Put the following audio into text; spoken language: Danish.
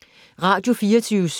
Radio24syv